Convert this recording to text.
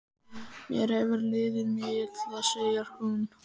Mér hefur liðið mjög illa, segir hún.